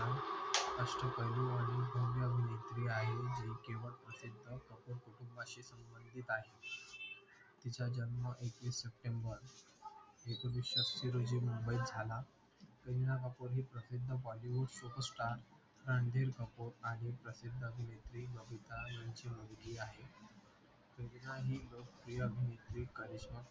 रोजी मुंबईत झाला करीना कपूर हे प्रशिद्ध् Bollywood superstar Randhir Kapoor आणि प्रशिद्ध् अभिनेत्री बबीता यांची मुलगी आहे सगळ्यांनी लोकप्रिय करिश्मा कपूर